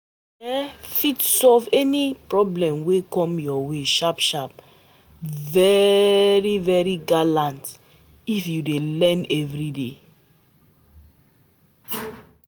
U go um fit solve any problem wey come ur way sharp sharp, very um gallant if u dey learn everyday